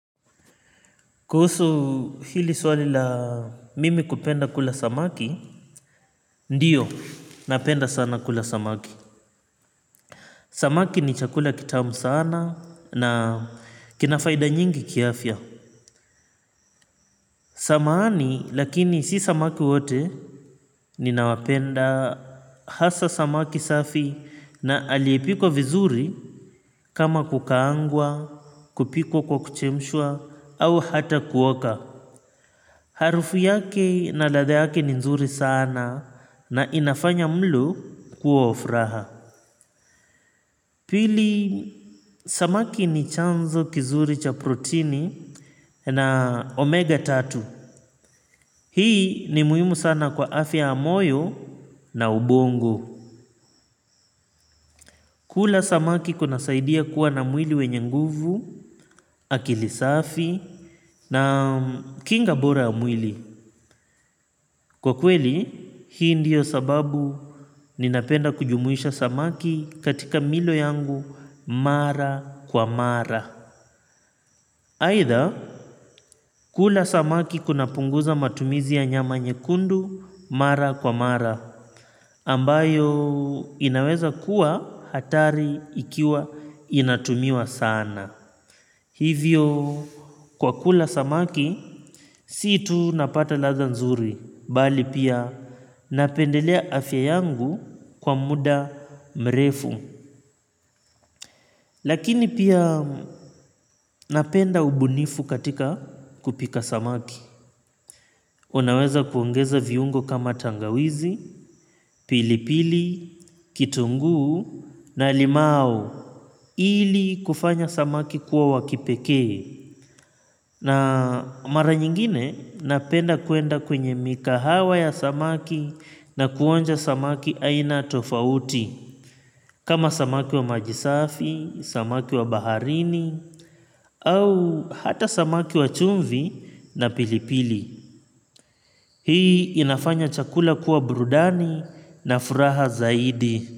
Kuhusu hili swali la mimi kupenda kula samaki. Ndiyo, napenda sana kula samaki. Samaki ni chakula kitamu sana na kinafaida nyingi kiafya. Samahani lakini si samaki wote. Ninawapenda hasa samaki safi na aliepikwa vizuri. Kama kukaangwa, kupikwa kwa kuchemshwa au hata kuoka. Harufu yake na ladha yake ni nzuri sana. Na inafanya mlo kuwa wa furaha. Pili samaki ni chanzo kizuri cha protini na omega tatu. Hii ni muhimu sana kwa afya ya moyo na ubongo. Kula samaki kuna saidia kuwa na mwili wenye nguvu. Akili safi na kinga bora ya mwili. Kwa kweli hii ndiyo sababu ninapenda kujumuisha samaki katika milo yangu. Mara kwa mara aidha kula samaki kuna punguza matumizi ya nyama nyekundu. Mara kwa mara ambayo inaweza kuwa hatari ikiwa inatumiwa sana. Hivyo kwa kula samaki si tunapata ladha nzuri bali pia napendelea afya yangu kwa muda mrefu. Lakini pia napenda ubunifu katika kupika samaki. Unaweza kuongeza viungo kama tangawizi, pilipili, kitungu na limau. Ili kufanya samaki kuwa wakipekee. Na mara nyingine napenda kuenda kwenye mikahawa ya samaki na kuonja samaki aina tofauti. Kama samaki wa maji safi, samaki wa baharini, au hata samaki wa chumvi na pilipili. Hii inafanya chakula kuwa burudani na furaha zaidi.